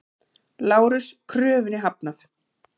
LÁRUS: Kröfunni hafnað!